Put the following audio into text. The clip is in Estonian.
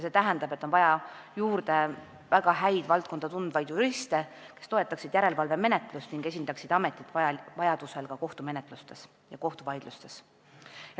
See tähendab, et on vaja juurde väga häid valdkonda tundvaid juriste, kes toetaksid järelevalvemenetlust ning esindaksid ametit vajadusel ka kohtumenetlustes ja kohtuvaidlustes.